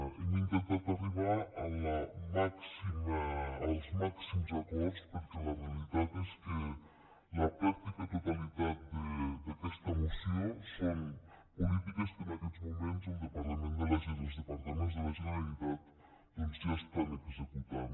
hem intentat arribar als màxims acords perquè la realitat és que la pràctica totalitat d’aquesta moció són polítiques que en aquests moments els departaments de la generalitat doncs ja estan executant